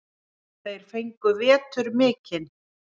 Þeir fengu vetur mikinn.